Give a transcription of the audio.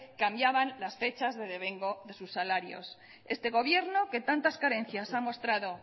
cambiaban las fechas de devengo de su salarios este gobierno que tantas carencias ha mostrado